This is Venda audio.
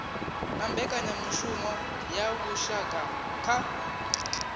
na mbekanyamushumo ya vhushaka kha